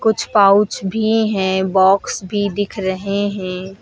कुछ पाउच भी है बॉक्स भी दिख रहे हैं।